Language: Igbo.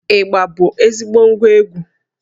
Ịgbà bụ ezigbo ngwá egwú